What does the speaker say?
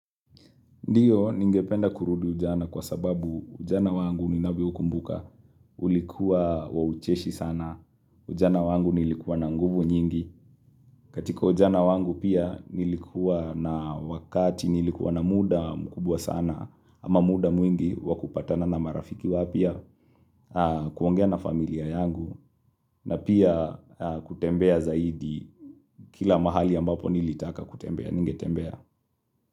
Ndiyo, ningependa kurudi ujana kwa sababu ujana wangu ninavyoukumbuka, ulikuwa wa ucheshi sana, ujana wangu nilikuwa na nguvu nyingi, katika ujana wangu pia nilikuwa na wakati nilikuwa na muda mkubwa sana, ama muda mwingi wa kupatana na marafiki wapya, kuongea na familia yangu, na pia kutembea zaidi kila mahali ambapo nilitaka kutembea, ningetembea.